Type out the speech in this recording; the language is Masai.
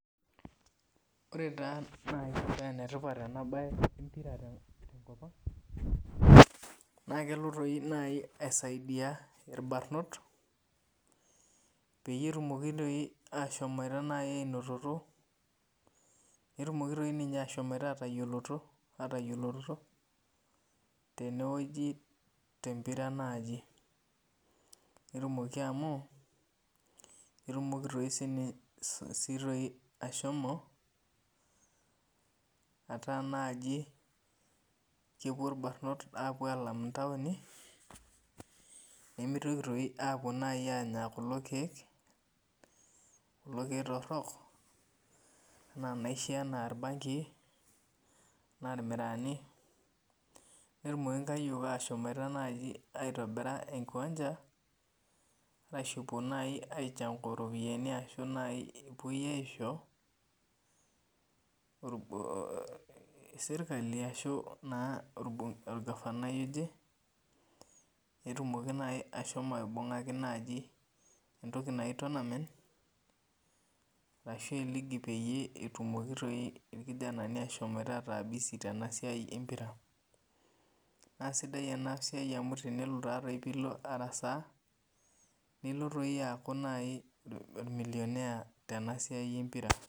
Ore taa nai penetipat enabae na kelo nai aisaiidia irbarnot petumoki nai ainototo netumoki ashomo atayioloroto tenewueji tenpira aai netumoki amu ketumoki nai ashomo ataa naibkepuo irbarnot alam ntauni nimitoki apuo anya kulo kiek torok ana enaisho orbangii na irmiraani netumoki nai aitobira enkiwanja apuo aishangu ropiyani pelo aisho serkali ashu orgavani ashomo aibungaki nai entoki naji tournament ashu eligi itumoki irkijanani ataa bisi tenasia empira nasidai enasiai amu tenilo arasaa niko aaku ormilionea tesiai empira.